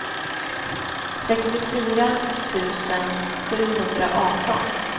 sextiofyra tusen sjuhundraarton